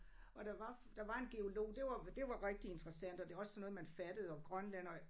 Og der var der var en geolog det var det var rigtig interessant og det også sådan noget man fattede og Grønland og